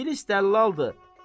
İngilis dəllaldır.